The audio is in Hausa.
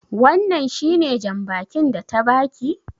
Wannan shi ne jan bakin da ta ba ki?